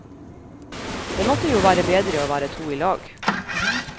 Det måtte jo være bedre og være to i lag.